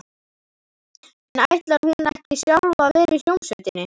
En ætlar hún ekki sjálf að vera í hljómsveitinni?